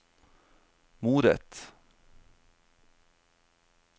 moret